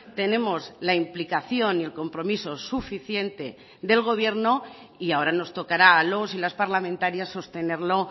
tenemos la implicación y el compromiso suficiente del gobierno y ahora nos tocará a los y las parlamentarias sostenerlo